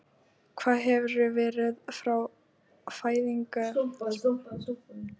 Hvar hefurðu verið frá fæðingu? spurði hún gáskafull og hló.